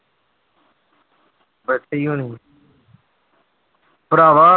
ਇੱਥੇ ਹੀ ਹੋਣੀ ਆਂ ਭਰਾਵਾ